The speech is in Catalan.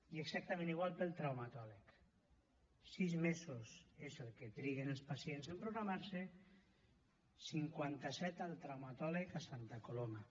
i exactament igual per al traumatòleg sis mesos és el que triguen els pacients en programar se cinquanta set al traumatòleg a santa coloma